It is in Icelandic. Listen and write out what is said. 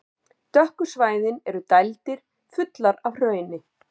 Dökku svæðin eru dældir, fullar af hrauni.